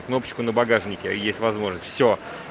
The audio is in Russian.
кнопка на багажнике есть возможность все